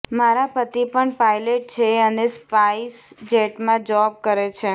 મારા પતિ પણ પાઇલટ છે અને સ્પાઇસ જેટમાં જોબ કરે છે